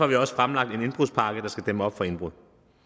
vi også fremlagt en indbrudspakke der skal dæmme op for indbrud